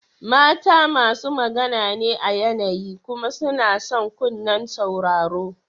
Mata masu magana ne a yanayi kuma suna son kunnen sauraro.